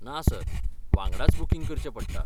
ना सर, वांगडाच बूकिंग करचें पडटा.